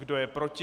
Kdo je proti?